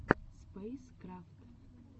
спэйскрафт